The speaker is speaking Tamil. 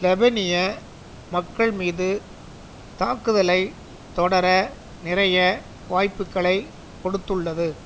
லெபனிய மக்கள்மீது தாக்குதலை தொடர நிறைய வாய்ப்புக்களை கொடுத்துள்ளது